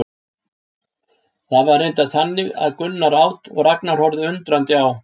Það var reyndar þannig að Gunnar át og Ragnar horfði undrandi á.